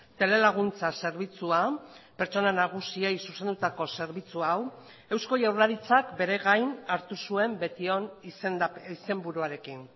telelaguntza zerbitzua pertsona nagusiei zuzendutako zerbitzu hau eusko jaurlaritzak beregain hartu zuen betion izenburuarekin